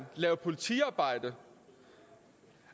lave politiarbejde